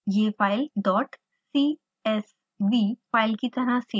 यह file csv dot csv file की तरह सेव होगी